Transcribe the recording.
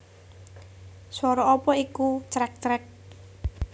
Swara apa iku crek crek